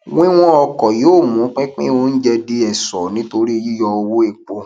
wíwọn ọkọ yóò mú pípín oúnjẹ di ẹṣọ nítorí yíyọ owó epo